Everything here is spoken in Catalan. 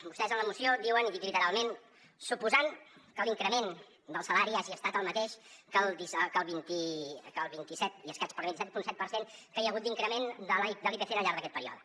vostès en la moció diuen i ho dic literalment suposant que l’increment del salari hagi estat el mateix que el vint i set i escaig el vint set coma set per cent que hi ha hagut d’increment de l’ipc al llarg d’aquest període